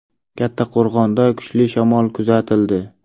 Kattaqo‘rg‘onda kuchli shamol kuzatildi.